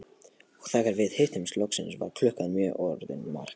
Og þegar við hittumst loksins var klukkan orðin margt.